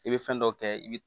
I bɛ fɛn dɔ kɛ i bɛ